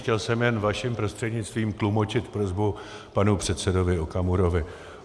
Chtěl jsem jen vaším prostřednictvím tlumočit prosbu panu předsedovi Okamurovi.